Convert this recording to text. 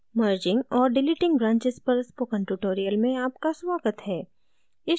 merging और deleting branches पर spoken tutorial में आपका स्वागत है